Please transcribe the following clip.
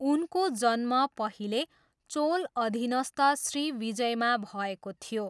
उनको जन्म पहिले चोल अधिनस्थ श्रीविजयमा भएको थियो।